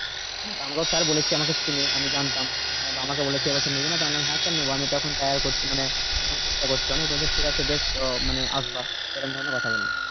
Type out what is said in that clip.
আমাকেও sir বলেছে আমাকে চেনে আমি জানতাম আহ আমাকে বলেছে এবছর নিবি না তো? আমি বললাম হ্যাঁ sir নেব আমি তখন করছি মানে চেষ্টা করছি অনেক বলছে বেশ আহ মানে আসবি এরকম ধরনের কথা বলেছে